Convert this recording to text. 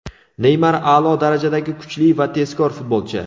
Neymar a’lo darajadagi kuchli va tezkor futbolchi.